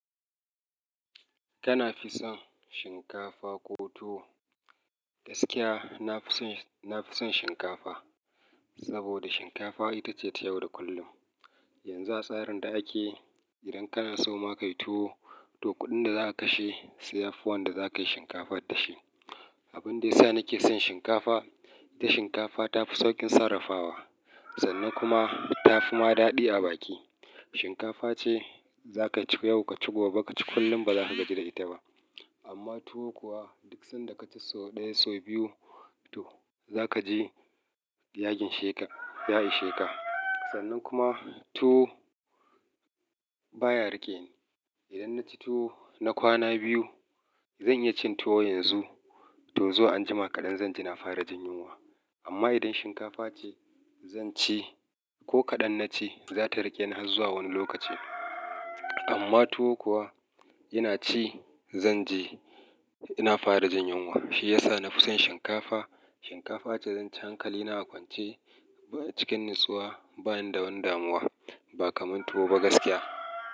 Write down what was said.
Kana fi son shinkafa ko tuwo? Gaskiya, na fi son shinkafa saboda shinkafa ita ce ta yau da kullum. Yanzu a tsarin da ake, idan kana so ma ka yi tuwo, to kuɗin da za ka kashe, sai yafi wanda za ka yi shinkafa da shi. Abin da ya sa nake son shinkafa, ita shinkafa ta fi sauƙin sarrafawa sannan kuma ta fi ma daɗi a baki. Shinkafa ce za ka ci yau, ka ci gobe, ka ci kullum ba za ka gaji da ita ba. Amma tuwo kuwa duk sanda ka ci sau ɗaya, sau biyu to za ka ji ya ginsheka ya isheka Sannan kuma tuwo baya ripening. Idan na ci tuwo na kwana biyu, zan iya cin tuwo yanzu to zuwa anjima kaɗan zan ji na fara jin yunwa. Amma idan shinkafa ce zan ci ko kaɗan na ci, za ta riƙe ni har zuwa wani lokaci. Amma tuwo kuwa ina ci zan ji ina fara jin yunwa. Shi ya sa na fi son shinkafa. Shinkafa ce zan ci hankali na a kwance ko cikin natsuwa bani da wani damuwa ba kamar tuwo ba gaskiya.